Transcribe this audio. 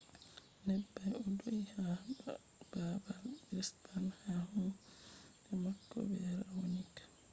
neɓɓay o do’i ha baabal brisbane ha kunde mako be raonic